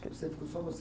Você ficou só você